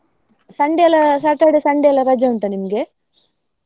Sunday ಎಲ್ಲಾ Saturday, Sunday ಎಲ್ಲಾ ರಜೆ ಉಂಟಾ ನಿಮಗೆ?